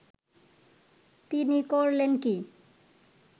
তিনি করলেন কি